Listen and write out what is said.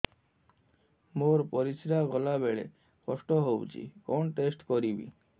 ମୋର ପରିସ୍ରା ଗଲାବେଳେ କଷ୍ଟ ହଉଚି କଣ ଟେଷ୍ଟ କରିବି